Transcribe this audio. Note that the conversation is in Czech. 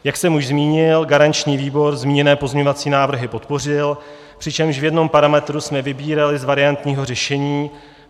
Jak jsem už zmínil, garanční výbor zmíněné pozměňovací návrhy podpořil, přičemž v jednom parametru jsme vybírali z variantního řešení.